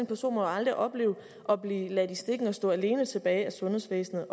person må jo aldrig opleve at blive ladt i stikken og stå alene tilbage af sundhedsvæsenet